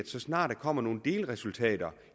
så snart der kommer nogle delresultater